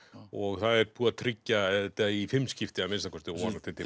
og það er búið að tryggja þetta í fimm skipti að minnsta kosti og vonandi til